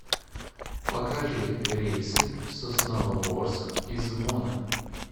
покажи рейсы в сосновоборск из вона